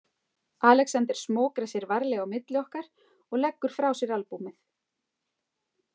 Alexander smokrar sér varlega á milli okkar og leggur frá sér albúmið.